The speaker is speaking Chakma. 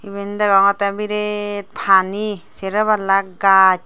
eben degongotte biret pani sero palla gach.